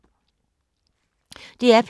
DR P2